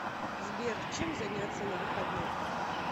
сбер чем заняться на выходных